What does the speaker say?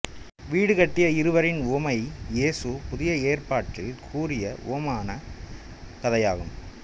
வீடுகட்டிய இருவரின் உவமை இயேசு புதிய ஏற்பாட்டில் கூறிய உவமான கதையாகும்